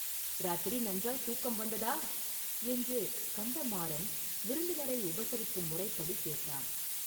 “இராத்திரி நன்றாய்த் தூக்கம் வந்ததா?” என்று கந்தமாறன் விருந்தினரை உபசரிக்கும் முறைப்படி கேட்டான்.